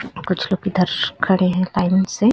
कुछ लोग इधर खड़े है टाइम से--